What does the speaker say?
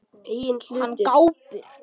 Hann gapir.